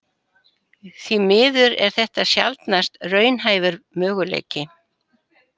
Því miður er þetta sjaldnast raunhæfur möguleiki.